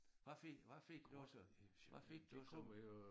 Hvad fik hvad fik du hvad fik du som